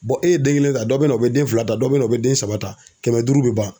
e ye den kelen ta dɔ bɛ na o bɛ den fila ta dɔ bɛ na u bɛ den saba ta kɛmɛ duuru bɛ ban.